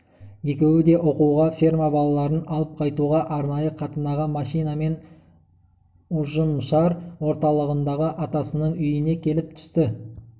екеуі де оқуға ферма балаларын алып қайтуға арнайы қатынаған машинамен ұжымшар орталығындағы атасының үйіне келіп түсті